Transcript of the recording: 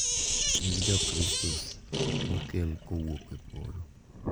Nying’ Jokristo ma okel kowuok e polo.